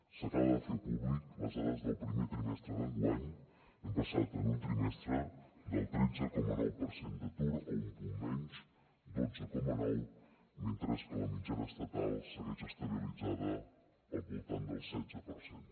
s’acaben de fer públiques les dades del primer trimestre d’enguany hem passat en un trimestre del tretze coma nou per cent d’atur a un punt menys dotze coma nou mentre que la mitjana estatal segueix estabilitzada al voltant del setze per cent